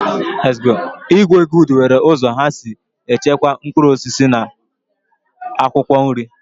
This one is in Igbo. Igbo good nwere uzo ha si echekwa mkpuruosisi na akwokwo nri.